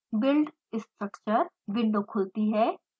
build structure window खुलती है